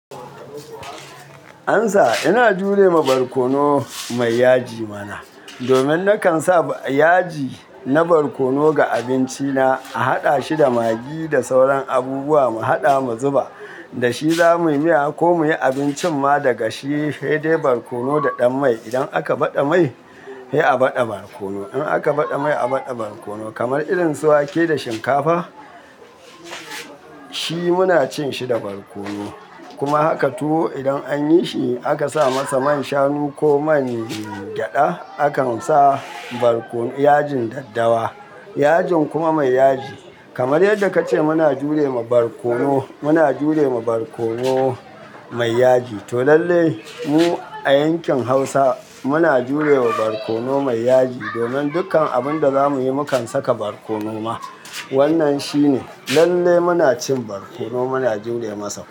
Ansa, ina jure ma barkono mai yaji mana. Domin nakan sa yaji na barkono ga abinci na, a haɗa shi da magi da sauran abubuwa mu haɗa mu zuba, da shi zamuyi miya ko muyi abincin ma daga shi, sai dai barkono da ɗan mai. Idan aka baɗa mai, sai a baɗa barkono. Idan aka baɗa mai, a baɗa barkono. Kamar irin su wake da shinkafa, shi muna cin shi da barkono. Kuma haka tuwo idan anyi shi, aka sa masa man shanu ko man gyaɗa, akan sa barkono, ko yajin daddawa. Yajin kuma mai yaji. Kamar yadda kace muna jure ma barkono, muna jure ma barkono mai yaji. To lalle mu a yankin Hausa muna jure ma barkono mai yaji. Domin dukkan abun da zamuyi mukan saka barkono ma. Wannan shine. Lalle muna cin barkono muna jure masa.